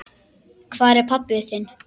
Hvar er pabbi þinn?